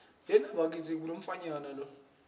sinetimphahla tasehlobo